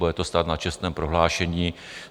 Bude to stát na čestném prohlášení.